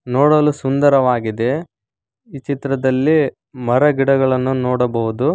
ನೋಡಲು ಸುಂದರವಾಗಿದೆ ಈ ಚಿತ್ರದಲ್ಲಿ ಮರಗಿಡಗಳನ್ನು ನೋಡಬಹುದು.